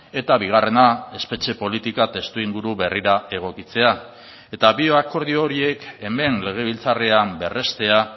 eta bigarrena espetxe politika testuinguru berrira egokitzea eta bi akordio horiek hemen legebiltzarrean berrestea